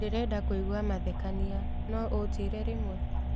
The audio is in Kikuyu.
ndīrenda kūigua mathekania nounjire rimwe